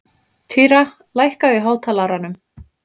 Týra, lækkaðu í hátalaranum.